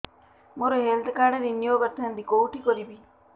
ମୋର health card renew କରିଥାନ୍ତି କୋଉଠି କରିବି